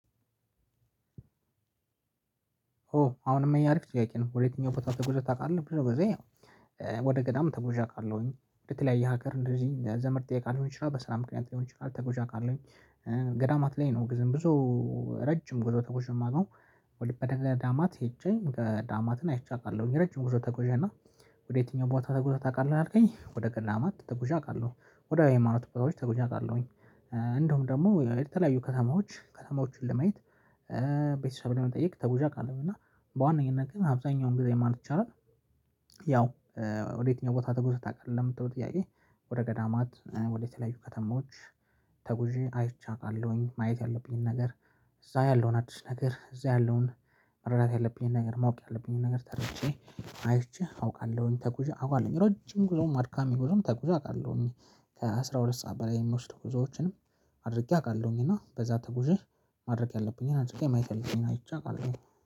ኦ አሁንም ይሄ አሪፍ ጥያቄ ነው ወደ የትኛው ቦታ ተጉዘህ ታቃለህ? ብዙ ጊዜ ወደ ገዳም ተጉዠ አውቃለሁኝ ወደተለያየ ሀገር እንደዚህ ዘመድ ጥየቃ ሊሆን ይችላል በስራ ምክንያት ሊሆን ይችላል ተጉዠ አቃለሁ። ገዳማት ላይ ነው ግዝም ብዙ ረጅም ጉዞ ተጉዠ ማቀው። ወደ ተገዳማት ሄጄ ገዳማትን አይቼ አውቃለሁኝ ረጅም ጉዞ ተጉዤ ነው። ወዴ የትኛው ቦታ ተጉዘህ ታውቃለህ አልከኝ ወደ ገዳማት ተጉዤ አውቃለሁ ወደ አይማኖት ቦታዎች ተጉዠ አቃለሁኝ። እንዲሁም ደግሞ የተለያዩ ከተማዎች ከተማዎቹን ለማየት ቤተሰብ ለመጠየቅ ተጉዣ አውቃለሁ እና በዋነኝነት ግን አብዛኛውን ጊዜ ማለት ይቻላል። ያው ወዴትኛው ቦታ ተጉዘህ ታውቃለህ ለምትለው ጥያቄ? ወደ ገዳማት ወደ ተለያዩ ከተማዎች። ተጉዠ አይቼ አቃለሁኝ ማየት ያለብኝን ነገር እዛ ያለውን አዲስ ነገር እዛ ያለውን መረዳት ያለብኝን ነገር ማወቅ ያለብኝን ነገር ተረድቼ አይቼ አውቃለሁኝ ተጉዠ አውቃለሁኝ ረጅም ጉዞም አድካሚ ጉዞም ተጉዥ አውቃለሁኝ። ከአሥራ ሁለት ሰዓት በላይ የሚወስዱ ጉዞዎችንም አድርጌ አውቃለሁኝ። እና በዛ ተጉዥ ማድረግ ያለብኝን አድርጌ ማየት ያለብኝን አይቼ አውቃለሁኝ